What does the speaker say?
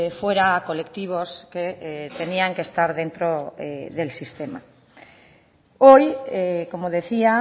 fuera a colectivos que tenían que estar dentro del sistema hoy como decía